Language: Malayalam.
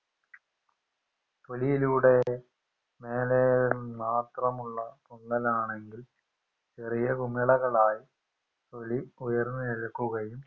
തൊലിയിലൂടെ മേലെ മാത്രമുള്ള പൊള്ളലാണെങ്കിൽ ചെറിയ കുമിളകളായും തൊലി ഉയർന്ന് നിൽക്കുകയൂം